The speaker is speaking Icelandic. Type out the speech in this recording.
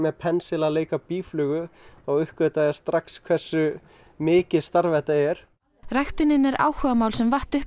pensil að leika býflugu þá uppgötvaðist strax hversu mikið starf þetta er ræktunin er áhugamál sem vatt upp